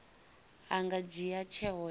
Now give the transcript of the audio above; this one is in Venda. a nga dzhia tsheo ya